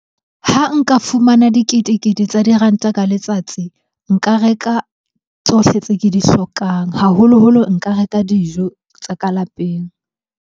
Ha nka fumana dikete-kete tsa diranta ka letsatsi, nka reka tsohle tse ke di hlokang. Haholoholo nka reka dijo tsa ka lapeng.